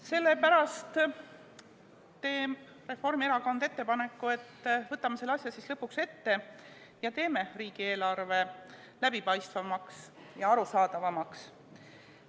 Sellepärast teeb Reformierakond ettepaneku, et võtame selle asja siis lõpuks ette ja teeme riigieelarve läbipaistvamaks ja arusaadavamaks.